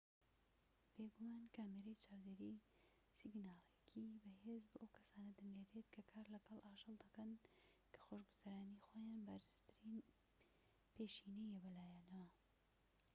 بێگومان کامیرای چاودێری سیگناڵێکی بەهێز بۆ ئەو کەسانە دەنێرێت کە کار لەگەڵ ئاژەڵ دەکەن کە خۆشگوزەرانی خۆیان بەرزترین پێشینەیە بەلایانەوە